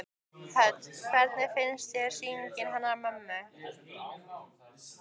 Hödd: Hvernig finnst þér sýningin hennar mömmu?